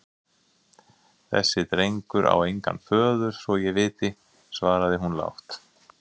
Þessi drengur á engan föður svo ég viti, svaraði hún lágt.